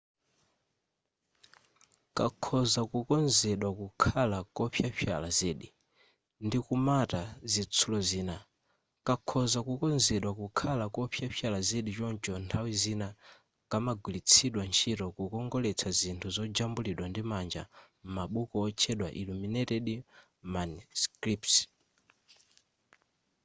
kakhoza kukonzedwa kukhala kopyapyala zedi ndi kumata zitsulo zina kakhoza kukonzedwa kukhala kopyapyala zedi choncho nthawi zina kamagwiritsidwa ntchito kukongoletsa zithunzi zojambulidwa ndi manja m'mabuku otchedwa illuminated manuscripts